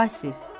Vasif.